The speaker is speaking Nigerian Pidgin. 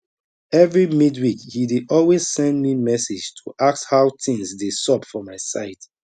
every midweek he dey always send me message to ask how things dey xup for my side